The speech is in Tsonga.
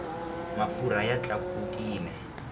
mafurha ya tlakukile